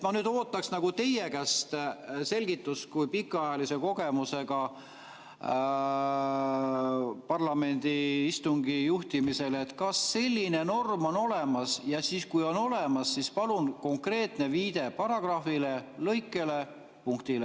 Ma ootaksin teie käest selgitust, teil on pikaajaline kogemus parlamendi istungi juhtimisel, et kas selline norm on olemas ja kui on olemas, siis palun esitage konkreetne viide paragrahvile, lõikele ja punktile.